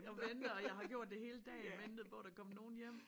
Og venter og jeg har gjort det hele dagen ventet på der kom nogen hjem